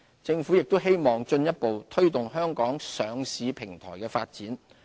政府亦希望進一步推動香港上市平台的發展。